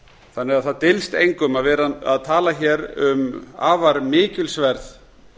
þannig að það dylst engum að vera að tala hér um afar mikilsverð